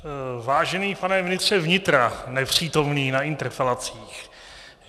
Vážený pane ministře vnitra, nepřítomný na interpelacích.